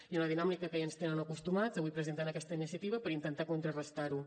i en la dinàmica que ja ens tenen acostumats avui presenten aquesta iniciativa per intentar contrarestar ho